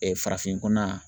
farafin kuna